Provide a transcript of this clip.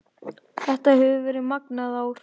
Þetta hefur verið magnað ár